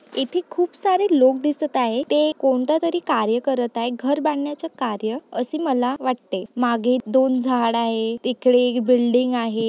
इथे खूप सारे लोक दिसत आहे ते कोणत्यातरी कार्य करत आहे घर बांधण्याचे कार्य असे मला वाटते मागे दोन झाड आहे तिकडे एक बिल्डिंग आहे.